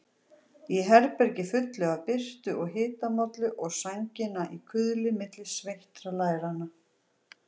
Í herbergi fullu af birtu og hitamollu og sængina í kuðli milli sveittra læranna.